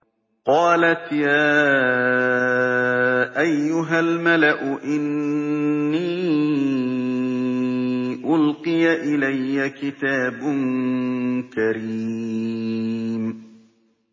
قَالَتْ يَا أَيُّهَا الْمَلَأُ إِنِّي أُلْقِيَ إِلَيَّ كِتَابٌ كَرِيمٌ